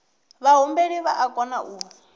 vhahumbeli vha o kona u